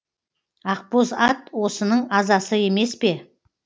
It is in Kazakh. ақбоз ат осының азасы емес пе